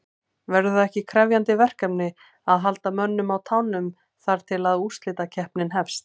Verður það ekki krefjandi verkefni að halda mönnum á tánum þar til að úrslitakeppnin hefst?